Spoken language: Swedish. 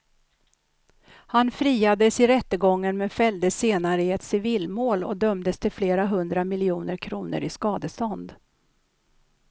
Han friades i rättegången men fälldes senare i ett civilmål och dömdes till flera hundra miljoner kronor i skadestånd.